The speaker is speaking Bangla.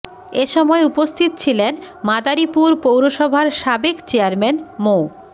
এ সময় উপস্থিত ছিলেন মাদারীপুর পৌরসভার সাবেক চেয়ারম্যান মো